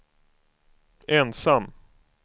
ensam